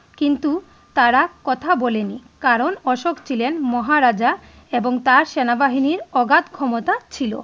কিন্তু তারা কথা বলিনি কারন অশোক ছিলেন মহারাজা এবং তার সেনাবাহিনীর অগাধ ক্ষমতা ছিলো ।